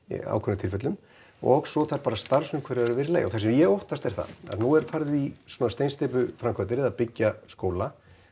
ákveðnum tilfellum og svo þarf starfsumhverfið bara að vera í lagi og það sem ég óttast er það að nú er farið í svona steinsteypuframkvæmdir eða að byggja skóla